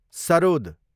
sarod